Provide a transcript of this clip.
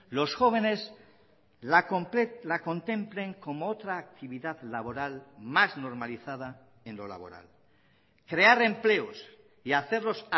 los jóvenes la contemplen como otra actividad laboral más normalizada en lo laboral crear empleos y hacerlos